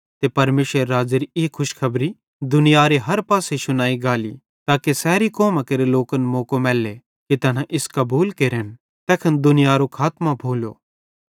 ते परमेशरेरे राज़्ज़ेरी ई खुशखबरी दुनियारे हर पासे शुनाई गाली ताके सैरी कौमां केरे लोकन मौको मैले कि तैना इस कबूल केरन तैखन दुनियारो खातमों भोलो